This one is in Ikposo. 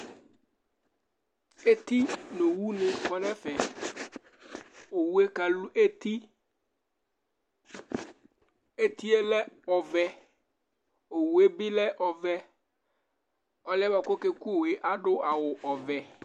Eti nʋ owunɩ kɔ nʋ ɛfɛ Owu yɛ kalʋ eti Eti yɛ lɛ ɔvɛ Owu yɛ bɩ lɛ ɔvɛ, ɔlʋ yɛ bʋa kʋ ɔkeku owu yɛ adʋ awʋ ɔvɛ